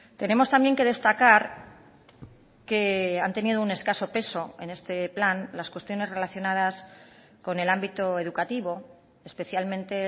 tenemos también que destacar que han tenido un escaso peso en este plan las cuestiones relacionadas con el ámbito educativo especialmente